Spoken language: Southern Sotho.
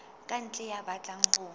ka ntle ya batlang ho